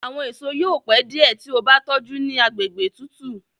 Àwọn èso yóò pẹ diẹ tí o bá tójú ní àgbègbè tútù.